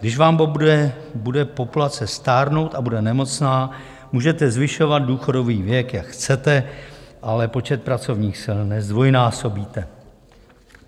Když vám bude populace stárnout a bude nemocná, můžete zvyšovat důchodový věk, jak chcete, ale počet pracovních sil nezdvojnásobíte.